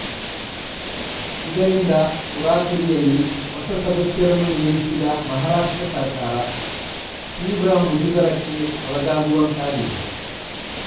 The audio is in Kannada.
ಇದರಿಂದ ತರಾತುರಿಯಲ್ಲಿ ಹೊಸ ಸದಸ್ಯರನ್ನು ನೇಮಿಸಿದ ಮಹಾರಾಷ್ಟ್ರ ಸರ್ಕಾರ ತೀವ್ರ ಮುಜುಗರಕ್ಕೆ ಒಳಗಾಗುವಂತಾಗಿದೆ